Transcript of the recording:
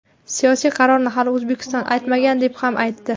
Siyosiy qarorni hali O‘zbekiston aytmagan deb ham aytdi.